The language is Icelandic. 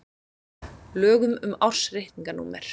lögum um ársreikninga númer